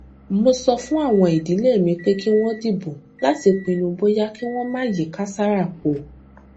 mo sọ fún àwọn ìdílé mi pé kí wón dìbò láti pinnu bóyá kí wón máa yí kàsárà po